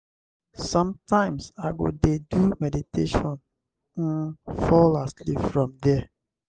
sometimes i go dey do meditation um fall asleep from there.